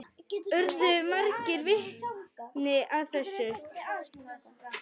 Urðu margir vitni að þessu.